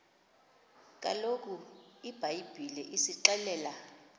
kaloku ibhayibhile isixelela